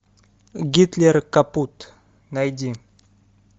гитлер капут найди